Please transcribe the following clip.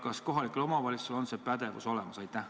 Kas kohalikul omavalitsusel on see pädevus olemas?